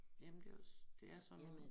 Jamen det også det er sådan nogen